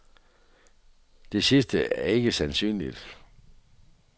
Det sidste er ikke sandsynligt.